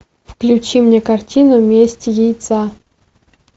включи мне картину месть яйца